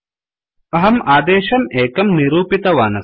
अहं आदेशम् एकं निरूपितवान् अस्मि